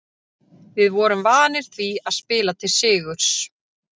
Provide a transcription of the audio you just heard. Við vorum vanir því að spila til sigurs.